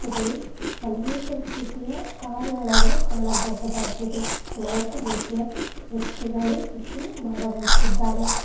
ಇಲ್ಲಿ ಅನೇಕ ರೀತಿಯ ಕಾರುಗಳನ್ನು ಕಾಣಬಹುದಾಗಿದೆ ಅನೇಕ ರೀತಿಯ ವ್ಯಕ್ತಿಗಳು ಇಲ್ಲಿ ಭಾಗವಹಿಸಿದ್ದಾರೆ.